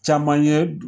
Caman ye